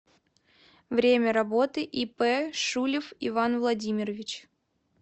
время работы ип шулев иван владимирович